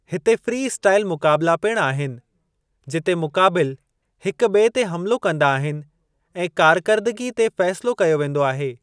हिते freestyle मुक़ाबिला पिणु आहिनि, जिते मुक़ाबिल हिक ॿिए ते हमलो कंदा आहिनि, ऐं कार्करदगी ते फ़ेसिलो कयो वेंदो आहे।